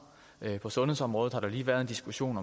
på sundhedsområdet har der lige været en diskussion